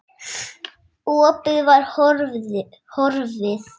Opið var horfið.